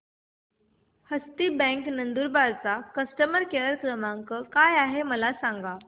हस्ती bank Nandurbar चा customer care क्रमांक काय आहे हे मला सांगा